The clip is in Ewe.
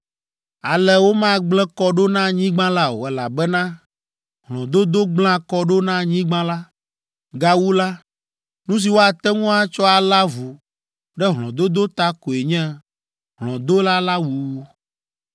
“ ‘Ale womagblẽ kɔ ɖo na anyigba la o, elabena hlɔ̃dodo gblẽa kɔ ɖo na anyigba la. Gawu la, nu si woate ŋu atsɔ alé avu ɖe hlɔ̃dodo ta koe nye hlɔ̃dola la wuwu.